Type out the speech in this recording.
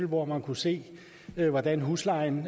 hvor man kunne se hvordan huslejen